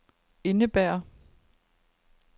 indebærer